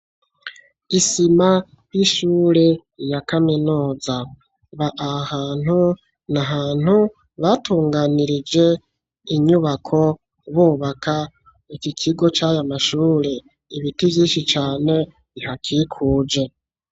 Isima y'ishure ya kaminuza aha ahantu na hantu batunganirije inyubako bubaka iki kigo cy'aya mashuri ibiti byishi cane bihakikuje.